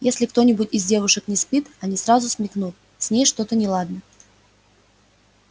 если кто-нибудь из девушек не спит они сразу смекнут с ней что-то неладно